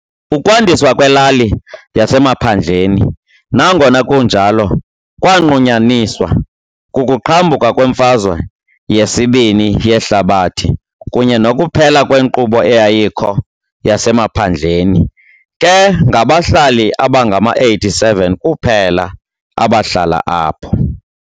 Ukwandiswa kwelali yasemaphandleni, nangona kunjalo, kwanqunyanyiswa kukuqhambuka kweMfazwe yesiBini yeHlabathi kunye nokuphela kwenkqubo eyayikho yasemaphandleni, ke ngabahlali abangama-87 kuphela abahlala apho.